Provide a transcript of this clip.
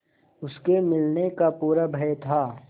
उसके मिलने का पूरा भय था